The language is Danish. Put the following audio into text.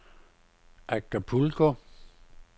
Acapulco